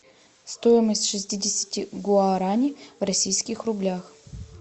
стоимость шестидесяти гуарани в российских рублях